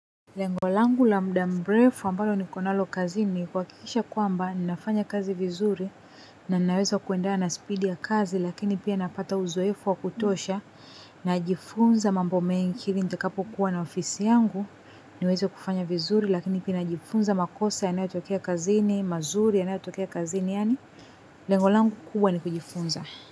Lengolangu la muda mrefu ambalo nikonalo kazini kuhakikisha kwamba ninafanya kazi vizuri na ninaweza kuenda na speed ya kazi lakini pia napata uzoefu wa kutosha najifunza mambo mengine nitakapokuwa na ofisi yangu niweze kufanya vizuri lakini pia najifunza makosa yanayotokea kazini mazuri yanayotokea kazini yaani lengo langu kubwa ni kujifunza.